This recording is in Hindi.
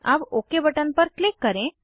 अब ओक पर क्लिक करें